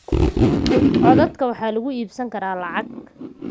Codadka waxa lagu iibsan karaa lacag.